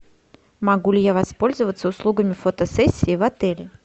могу ли я воспользоваться услугами фотосессии в отеле